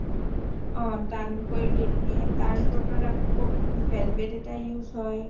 অ টানকৈ দিদিয়ে তাৰ উপৰত আকৌ velvet এটা use হয়